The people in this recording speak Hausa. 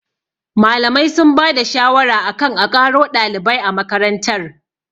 Malamai sun ba da shawara akan a ƙaro ɗalibai a makarantar